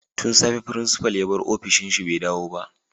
Tun safe principal ya bar ofishin shi bai dawo ba